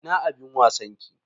Ina abin wasan ki?